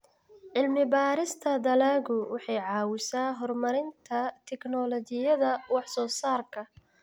Cilmi-baarista dalaggu waxay caawisaa horumarinta tignoolajiyada wax-soo-saarka.